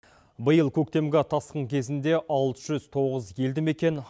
биыл көктемгі тасқын кезінде алты жүз тоғыз елді мекен